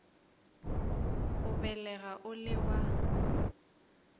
o lebega o le wa